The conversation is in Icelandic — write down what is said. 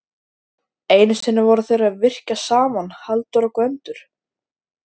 Einu sinni voru þeir að yrkja saman Halldór og Gvendur.